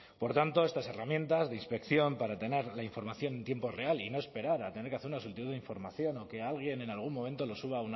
por tanto estas herramientas de inspección para tener la información en tiempo real y no esperar a tener que hacer una solicitud de información o que alguien en algún momento lo suba